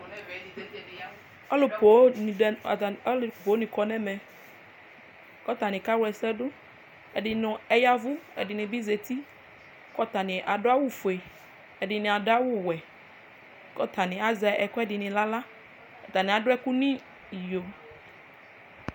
ɔlo ponŋ di ni do atani alo ponŋ di ni kɔ n'ɛmɛ kò atani kawla ɛsɛ do ɛdini yavu ɛdini bi zati kò atani ado awu fue ɛdini ado awu wɛ k'atani azɛ ɛkuɛdi n'ala atani ado ɛkò n'iyo